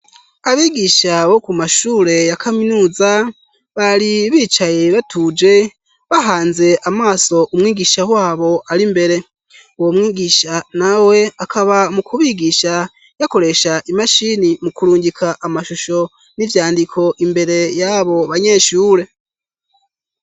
abigisha bo ku mashure yakaminuza bari bicaye batuje bahanze amaso umwigisha wabo ari mbere uwo mwigisha nawe akaba mu kubigisha yakoresha imashini mu kurungika amashusho n'ivyandiko imbere yabo banyeshure